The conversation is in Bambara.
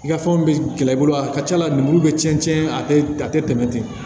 I ka fɛnw bɛ gɛlɛya i bolo a ka ca la lemuru bɛ cɛn cɛn a tɛ tɛmɛ ten